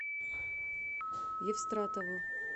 евстратову